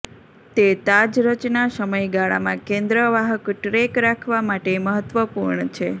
તે તાજ રચના સમયગાળામાં કેન્દ્ર વાહક ટ્રેક રાખવા માટે મહત્વપૂર્ણ છે